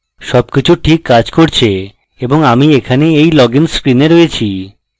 সবকিছু ঠিক কাজ করছে এবং আমি এখানে এই login screen রয়েছি